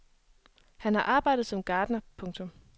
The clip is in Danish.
Han har arbejdet som gartner. punktum